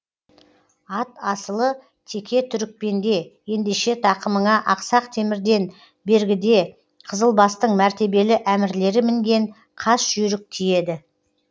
ат асылы теке түрікпенде ендеше тақымыңа ақсақ темірден бергіде қызылбастың мәртебелі әмірлері мінген қас жүйрік тиеді